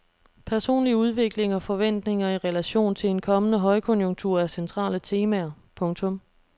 Personlig udvikling og forventninger i relation til en kommende højkonjunktur er centrale temaer. punktum